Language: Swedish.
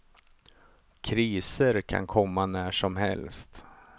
Kriser kan komma när som helst.